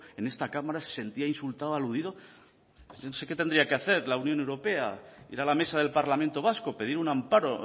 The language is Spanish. en esta cámara se sentía insultada y aludido no sé qué tendría que hacer la unión europea ir a la mesa del parlamento vasco pedir un amparo